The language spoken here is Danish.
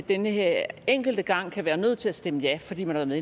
den her enkelte gang kan være nødt til at stemme ja fordi man er med